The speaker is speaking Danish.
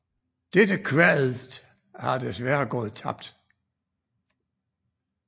Dette kvadet har desværre gået tabt